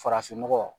Farafinnɔgɔ